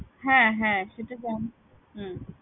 হ্যাঁ হ্যাঁ সেটা জানি হম